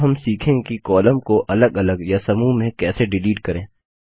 अब हम सीखेंगे कि कॉलम को अलग अलग या समूह में कैसे डिलीट करें